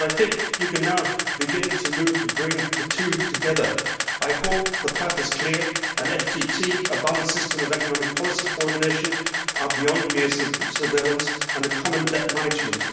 But I think you can now begin to move to bring the two together. I hope the path is clear and that the FTT and a balanced system of economic policy coordination are beyond mere surveillance and common debt management.